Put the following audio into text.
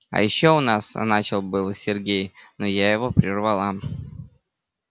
а ещё у нас начал было сергей но я его прервала